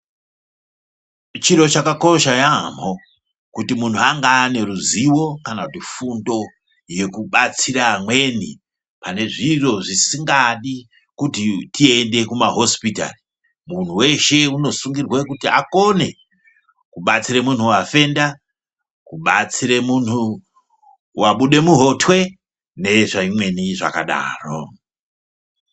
Chiro chakakosha yamho kuti munhu ange ane ruzivo kana kuti fundo yekubatsira amweni panezviro zvisingadi kuti tiende kumahosipitari muntu weshe unosungirwa kuti akone kubatsire munhu wafenda , kubatsire munhu wabude muhotwe nezvimweni zvakadaro.